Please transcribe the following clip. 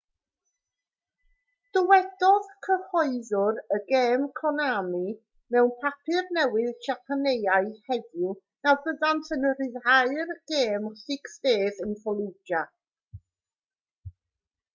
dywedodd cyhoeddwr y gêm konami mewn papur newydd siapaneaidd heddiw na fyddant yn rhyddhau'r gêm six days in fallujah